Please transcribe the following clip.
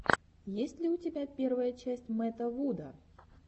есть ли у тебя первая часть мэтта вуда